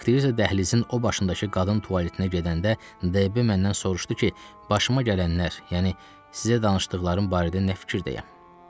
Aktrisa dəhlizin o başındakı qadın tualetinə gedəndə DB məndən soruşdu ki, başıma gələnlər, yəni sizə danışdıqlarım barədə nə fikirdəyəm?